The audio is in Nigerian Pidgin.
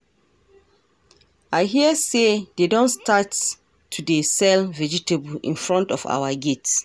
I hear say dey don start to dey sell vegetable in front of our gate